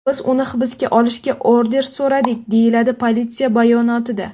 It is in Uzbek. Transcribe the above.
Biz uni hibsga olishga order so‘radik”, deyiladi politsiya bayonotida.